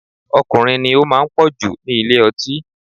Ọkùnrin ni ó máa ń pọ̀ jù ní ilé ọtí